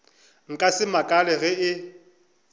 nka se makale ge e